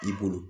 I bolo